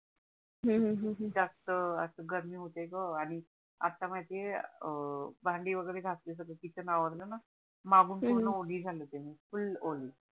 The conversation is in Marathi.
तर अस गरमी होते ग आणि आता माहिती आहे अं भांडी वगेरे घासली सगड किचन आवरलणा हम्म मागून पूर्ण ओली झाली होते मी फूल ओली